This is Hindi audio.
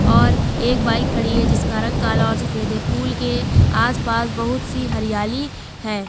और एक बाइक खड़ी है जिसका रंग काला और सफेद है पूल के आस पास बहुत सी हरियाली है।